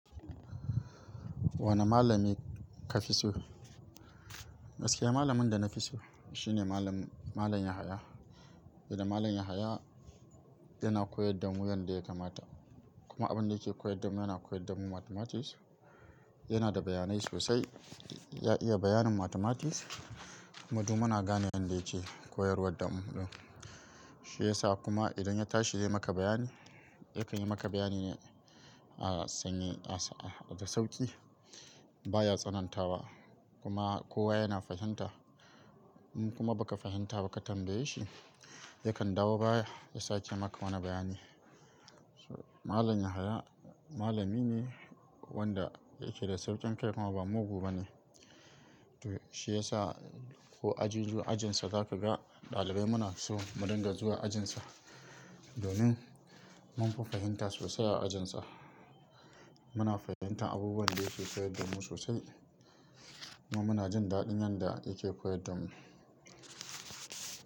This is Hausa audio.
Wane malami ka fi so? Gaskiya malamin da na fi so shi ne Malam Yahaya. Idan Malam Yahaya yana koyar da mu, yanda yake mata. Kuma abin da yake koyar da mu, yana koyar da mu mathematics. Yana da bayanai sosai, ya iya bayanin mathematics. Mu duk muna gane yanda yake koyarwa da mu. Shi yasa kuma idan ya tashi zai maka bayani, yakan yi maka bayani sanye da sauƙi. Ba ya tsanantawa kuma kowa yana fahimta. In kuma baka fahimta ba ka tambaye shi, yakan dawo baya, ya sake maka wani bayani. Malam Yahaya malami ne wanda yake da sauƙin kai kuma ba mugu bane. To shi yasa ko aji ko ajinsa za ka ga ɗalibai muna so mu dinga zuwa ajinsa. Domin munfi fahimta sosai a ajinsa. Muna fahimtar abubuwan da ke soyayyar da mu sosai. Muna jin daɗin yanda yake koyar da mu.